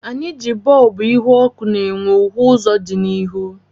Anyị ji bọlbụ ihu ọkụ na-enwu hu ụzọ dị n'ihu